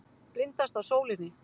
Blindast af sólinni.